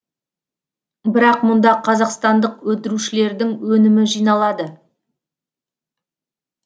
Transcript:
бірақ мұнда қазақстандық өндірушілердің өнімі жиналады